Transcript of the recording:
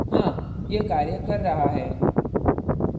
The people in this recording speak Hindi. हाँ यह कार्य कर रहा है